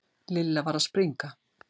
Lilla var að springa.